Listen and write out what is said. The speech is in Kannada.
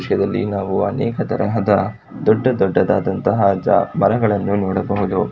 ಈ ದೃಶ್ಯದಲ್ಲಿ ನಾವು ಅನೇಕ ತರಹದ ದೊಡ್ಡ ದೊಡ್ಡದಾದಂತಹ ಮರಗಳನ್ನು ನೋಡಬಹುದು.